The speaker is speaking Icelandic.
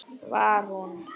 Var hún?!